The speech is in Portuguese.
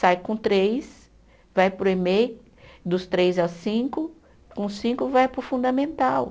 Sai com três, vai para o Emei dos três aos cinco, com cinco vai para o fundamental.